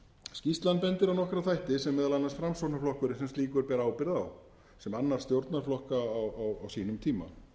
skýrslan bendir á nokkra þætti sem meðal annars framsóknarflokkurinn sem slíkur ber ábyrgð á sem annar stjórnarflokka á sínum tíma